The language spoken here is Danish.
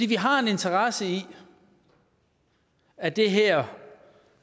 vi har en interesse i at det her